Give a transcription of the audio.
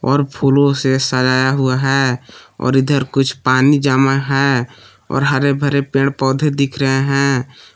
और फूलों से सजाया हुआ है और इधर कुछ पानी जमा है और हरे भरे पेड़ पौधे दिख रहे हैं।